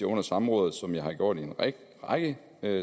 under samrådet som jeg har gjort i en række